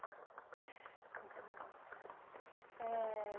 Entendi. Eh